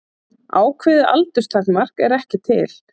Ákveðið aldurstakmark er ekki til.